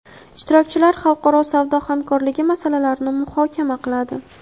ishtirokchilar xalqaro savdo hamkorligi masalalarini muhokama qiladi.